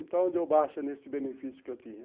Então, deu baixa nesse benefício que eu tinha.